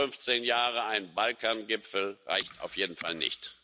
Alle 15 Jahre ein Balkangipfel reicht auf jeden Fall nicht.